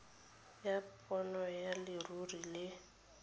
ya bonno ya leruri le